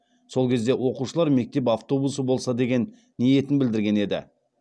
сол кезде оқушылар мектеп автобусы болса деген ниетін білдірген еді